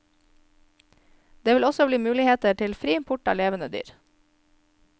Det vil også bli muligheter til fri import av levende dyr.